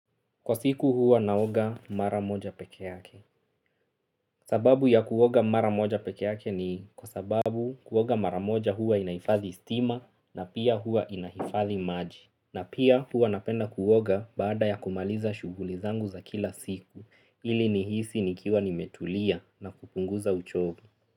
Kwa siku huwa naoga mara moja peke yake. Sababu ya kuoga mara moja peke yake ni kwa sababu kuoga mara moja huwa inaifathi stima na pia huwa inaifathi maji. Na pia huwa napenda kuoga baada ya kumaliza shughuli zangu za kila siku. Ili nihisi nikiwa nimetulia na kupunguza uchofu.